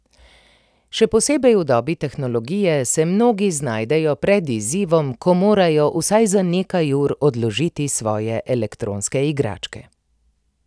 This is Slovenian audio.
Še posebej v dobi tehnologije se mnogi znajdejo pred izzivom, ko morajo vsaj za nekaj ur odložiti svoje elektronske igračke.